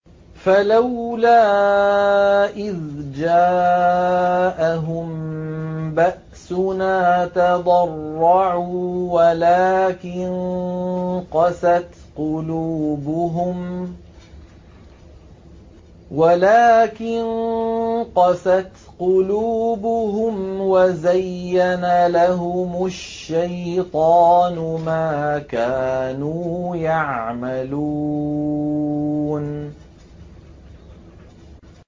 فَلَوْلَا إِذْ جَاءَهُم بَأْسُنَا تَضَرَّعُوا وَلَٰكِن قَسَتْ قُلُوبُهُمْ وَزَيَّنَ لَهُمُ الشَّيْطَانُ مَا كَانُوا يَعْمَلُونَ